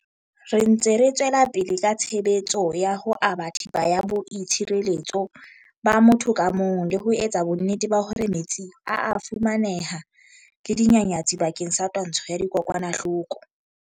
Re ntse re tswela pele ka tshebetso ya ho aba thepa ya boi tshireletso ba motho ka mong le ho etsa bonnete ba hore metsi a a fumaneha le dinyanyatsi bakeng sa twantsho ya dikokwanahloko.